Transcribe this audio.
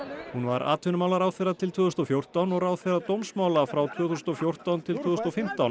hún var atvinnumálaráðherra til tvö þúsund og fjórtán og ráðherra dómsmála frá tvö þúsund og fjórtán til tvö þúsund og fimmtán